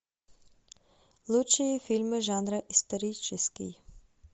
лучшие фильмы жанра исторический